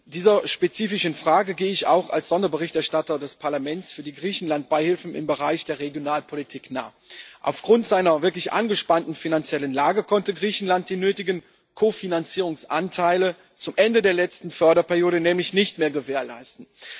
Dieser spezifischen Frage gehe ich auch als Sonderberichterstatter des Parlaments für die Griechenland-Beihilfen im Bereich der Regionalpolitik nach. Aufgrund seiner wirklich angespannten finanziellen Lage konnte Griechenland die nötigen Kofinanzierungsanteile zum Ende der letzten Förderperiode nämlich nicht mehr gewährleisten.